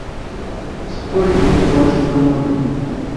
сколько тебе положить на номер